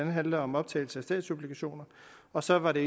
handler om optagelse af statsobligationer og så var det